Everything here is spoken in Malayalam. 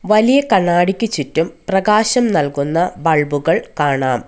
വലിയ കണ്ണാടിക്ക് ചുറ്റും പ്രകാശം നൽകുന്ന ബൾബുകൾ കാണാം.